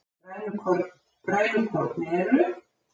grænukorn eru